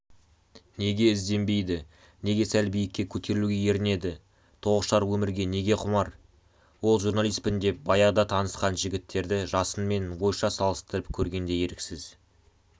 неге ізденбейді неге сәл биікке көтерілуге ерінеді тоғышар өмірге неге құмар ол журналистпін деп баяғыда танысқан жігіттерді жасынмен ойша салыстырып көргенде еріксіз